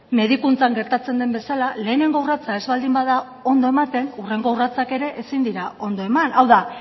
medikuntzan gertatzen den bezala lehenengo urratsa ez baldin bada ondo ematen hurrengo urratsak ere ezin dira ondo eman hau da